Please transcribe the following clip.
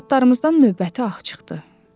Arvadlarımızdan növbəti ağ çıxdı.